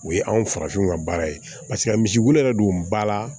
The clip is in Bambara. O ye anw farafinw ka baara ye paseke a misibulu yɛrɛ don ba la